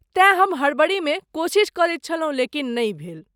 तेँ हम हड़बड़ीमे कोशिश करैत छलहुँ लेकिन नहि भेल।